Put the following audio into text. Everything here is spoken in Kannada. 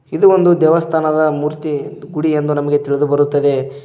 ಇದು ಒಂದು ದೇವಸ್ಥಾನದ ಮೂರ್ತಿ ಗುಡಿ ಎಂದು ನಮಗೆ ತಿಳಿದು ಬರುತ್ತದೆ.